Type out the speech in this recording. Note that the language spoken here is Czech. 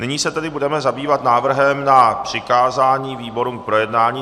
Nyní se tedy budeme zabývat návrhem na přikázání výborům k projednání.